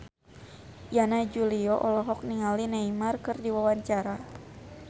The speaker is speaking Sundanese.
Yana Julio olohok ningali Neymar keur diwawancara